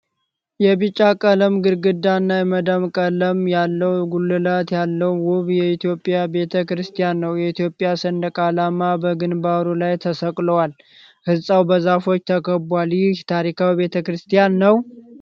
የቢጫ ቀለም ግድግዳ እና የመዳብ ቀለም ያለው ጉልላት ያለው ውብ የኢትዮጵያ ቤተ ክርስቲያን ነው። የኢትዮጵያ ሰንደቅ ዓላማዎች በግንባሩ ላይ ተሰቅለዋል። ህንፃው በዛፎች ተከቧል። ይህ ታሪካዊ ቤተክርስቲያን ነው?